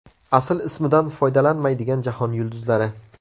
Asl ismidan foydalanmaydigan jahon yulduzlari.